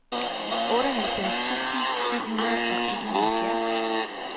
otteoghalvfjerds tusind syv hundrede og enoghalvfjerds